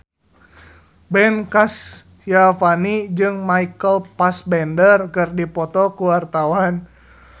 Ben Kasyafani jeung Michael Fassbender keur dipoto ku wartawan